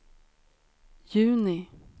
juni